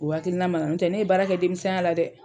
O hakilina ma na yɔntɛ ne ye baara kɛ denmisɛnya la dɛ.